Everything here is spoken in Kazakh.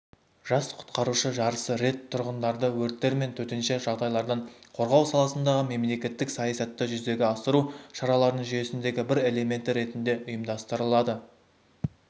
жас құтқарушы жарысы рет тұрғындарды өрттер мен төтенше жағдайлардан қорғау саласындағы мемлекеттік саясатты жүзеге асыру шараларының жүйесіндегі бір элементі ретінде ұйымдастырылады